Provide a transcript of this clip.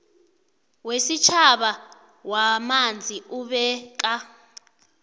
wesitjhaba wamanzi ubeka